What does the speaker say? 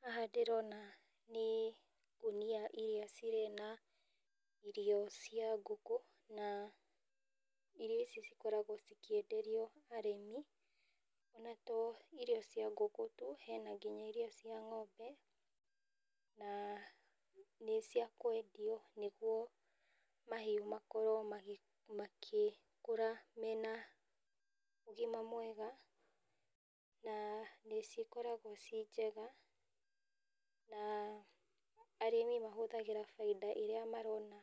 Haha ndĩrona nĩ ngũnia iria cirĩ na irio cia ngũkũ. Na irio ici cikoragwo cikĩenderio arĩmi, na to irio cia ngũkũ tu, hena nginya iria cia ng'ombe, na nĩ cia kwendio nĩguo mahiu makorwo magĩkũra mena ũgima mwega. Na nĩ cikoragwo ci njega, na arĩmi mahũthagĩra bainda ĩrĩa marona,